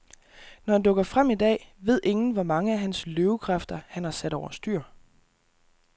Når han dukker frem i dag, ved ingen, hvor mange af hans løvekræfter, han har sat over styr.